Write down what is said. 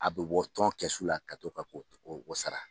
A bɛ bɔ tɔno kɛsu la ka to ka o o sara